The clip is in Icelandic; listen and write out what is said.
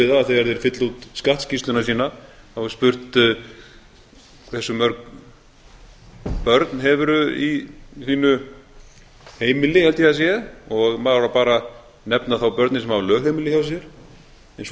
við það að þegar þeir fylla út skattskýrsluna sína þá er spurt hversu mörg börn hefurðu í þínu heimili held ég að það sé og maður á þá bara að nefna þá börnin sem hafa lögheimili hjá sér en svo er